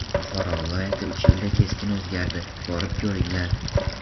Buxoro viloyati uch yilda keskin o‘zgardi, borib ko‘ringlar.